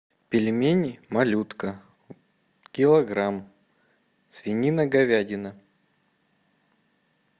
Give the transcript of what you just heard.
пельмени малютка килограмм свинина говядина